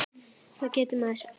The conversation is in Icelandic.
Hvað getur maður sagt?